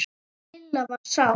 Lilla var sár.